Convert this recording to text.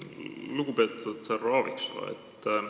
Lugupeetud härra Aaviksoo!